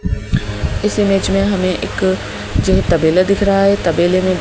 इस इमेज में हमें एक जो तबेला दिख रहा है तबले में--